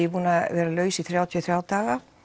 er búin að vera laus í þrjátíu og þriggja daga